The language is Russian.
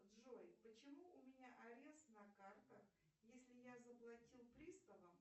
джой почему у меня арест на картах если я заплатил приставам